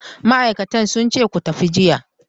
Ma'aikatan sun ce ku tafi jiya.